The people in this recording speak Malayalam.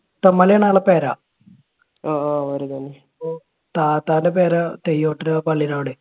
പുത്തൻമലയാണ് ആൾടെ പെര. താത്താന്റെ പെര തെയ്യോട്ടുചിറ പള്ളിടെ അവിടെ.